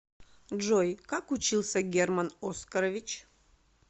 джой как учился герман оскарович